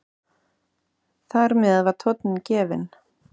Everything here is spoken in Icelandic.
Þar með var tónninn gefinn.